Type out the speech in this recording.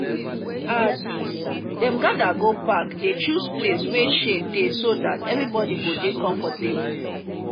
as them gather go park they choose place wey shade dey so that everybody go dey comfortable